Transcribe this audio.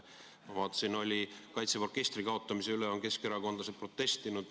Ma vaatasin, et Kaitseväe orkestri kaotamise vastu on keskerakondlased protestinud.